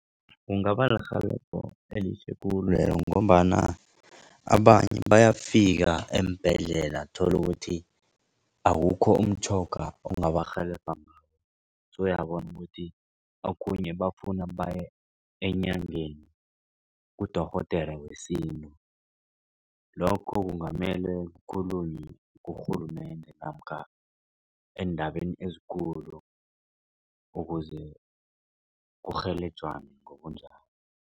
Kungabalirhelebho elihle khulu ngombana abanye bayafika eembhedlela uthole ukuthi awukho umtjhoga ongabarhelebha . Sewuyabona ukuthi okhunye bafuna baye enyangeni kudorhodera wesintu. Lokho kungamele kukhulunywe kurhulumende namkha eendabeni ezikulu ukuze kurhelejwane ngobunjalo.